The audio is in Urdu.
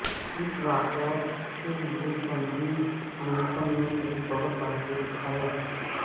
اس واقعہ کے لئے تنظیم انیسن نے ایک بہت بہادر اٹھایا